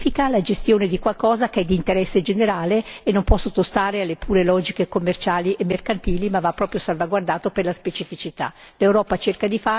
Bene pubblico significa la gestione di qualcosa che è di interesse generale e non può sottostare alle pure logiche commerciali e mercantili, ma va proprio salvaguardato per la specificità.